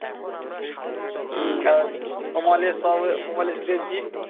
অমালের সব অমলেশ দেশজী